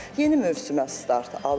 Yeni mövsümə start alırıq.